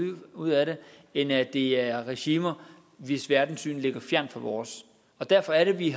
ud af det end at det er regimer hvis verdenssyn ligger fjernt fra vores derfor er det at vi